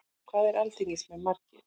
Hvað eru alþingismenn margir?